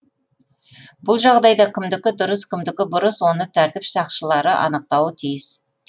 бұл жағдайда кімдікі дұрыс кімдікі бұрыс оны тәртіп сақшылары анықтауы тиіс